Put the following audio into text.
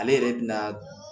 Ale yɛrɛ bi na